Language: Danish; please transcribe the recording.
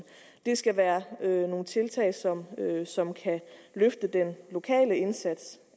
det skal være nogle tiltag som som kan løfte den lokale indsats